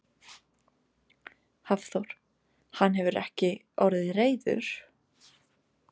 Hafþór: Hann hefur ekki orðið reiður?